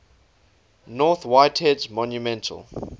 north whitehead's monumental